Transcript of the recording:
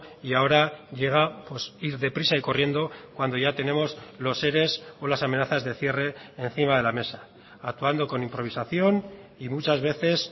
y ahora llega ir deprisa y corriendo cuando ya tenemos los ere o las amenazas de cierre encima de la mesa actuando con improvisación y muchas veces